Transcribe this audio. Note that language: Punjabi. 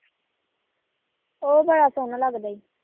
ਉਹ ਬੜਾ ਸੋਹਣਾ ਲੱਗਦਾ ਈ